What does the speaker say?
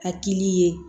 A kili ye